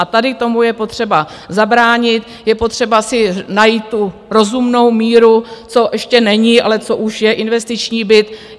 A tady tomu je potřeba zabránit, je potřeba si najít tu rozumnou míru, co ještě není a co už je investiční byt.